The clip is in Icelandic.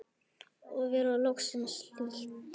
Og vera loksins hlýtt!!